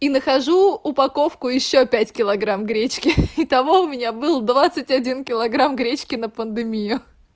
и нахожу упаковку ещё пять киллограмм гречки и того у меня был двадцать один килограмм гречки на пандемию